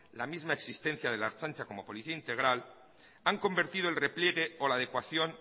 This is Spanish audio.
la misma existencia de la ertzaintza como policía integral han convertido el repliegue o la adecuación